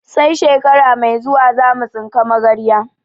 Sai shekara mai zuwa zamu tsinka magarya